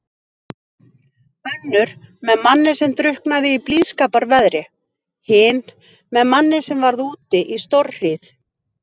Önnur með manni sem drukknaði í blíðskaparveðri, hin með manni sem varð úti í stórhríð.